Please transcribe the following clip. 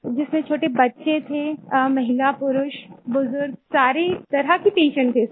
जिसमें छोटे बच्चे थे महिला पुरुष बुजुर्ग सारे तरह के पेशेंट थे सर